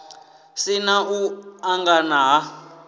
si na u angana ha